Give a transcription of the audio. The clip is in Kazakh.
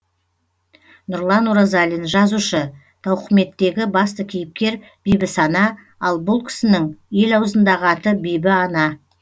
нұрлан оразалин жазушы тауқыметтегі басты кейіпкер бибісана ал бұл кісінің ел аузындағы аты бибіана